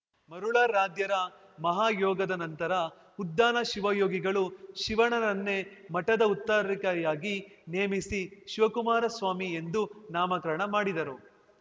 ಮರುಳಾರಾಧ್ಯರ ಮಹಾಯೋಗದ ನಂತರ ಉದ್ಧಾನ ಶಿವಯೋಗಿಗಳು ಶಿವಣ್ಣನನ್ನೇ ಮಠದ ಉತ್ತರಾಕಾರಿಯಾಗಿ ನೇಮಿಸಿ ಶಿವಕುಮಾರ ಸ್ವಾಮಿ ಎಂದು ನಾಮಕರಣ ಮಾಡಿದರು